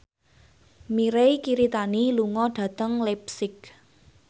Mirei Kiritani lunga dhateng leipzig